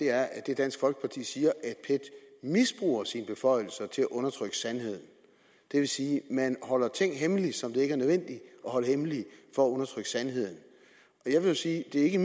er at dansk folkeparti siger at pet misbruger sine beføjelser til at undertrykke sandheden det vil sige at man holder ting hemmelige som det ikke er nødvendigt at holde hemmelige for at undertrykke sandheden jeg vil sige at det ikke